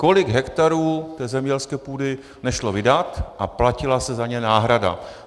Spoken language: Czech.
Kolik hektarů té zemědělské půdy nešlo vydat a platila se za ně náhrada.